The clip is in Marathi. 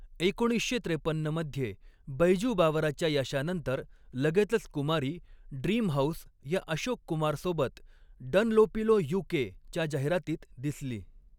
एकोणीसशे त्रेपन्न मध्ये, बैजू बावराच्या यशानंतर लगेचच कुमारी, ड्रीम हाऊस या अशोक कुमार सोबत डनलोपिलो यू.के.च्या जाहिरातीत दिसली.